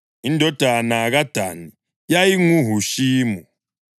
Indodana kaDani: yayinguHushimu.